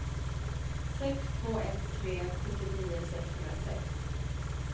sex två ett tre sjuttionio sexhundrasex